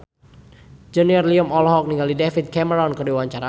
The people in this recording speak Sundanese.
Junior Liem olohok ningali David Cameron keur diwawancara